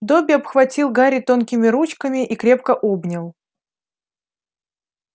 добби обхватил гарри тонкими ручками и крепко обнял